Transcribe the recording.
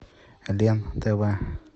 лен тв